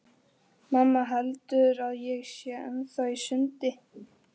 Mamma heldur að ég sé ennþá í sundi.